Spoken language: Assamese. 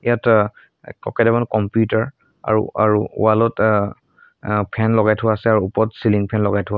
ইয়াত ক-কেইটামান কম্পিউটাৰ আৰু আৰু ৱাল ত আহ আ ফেন লগাই থোৱা আছে আৰু ওপৰত চিলিং ফেন লগাই থোৱা--